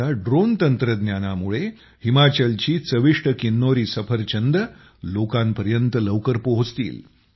आता ड्रोन तंत्रज्ञानामुळे हिमाचलची चविष्ट किन्नौरी सफरचंदं लोकांपर्यंत लवकर पोहोचतील